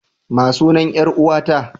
Ma sunan 'yar uwa ta?